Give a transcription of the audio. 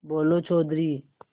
बोलो चौधरी